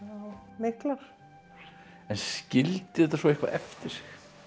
miklar en skildi þetta svo eitthvað eftir sig